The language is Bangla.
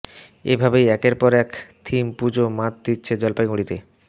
এ ভাবেই একের পর এক থিম পুজো মাত দিচ্ছে জলপাইগুড়িতে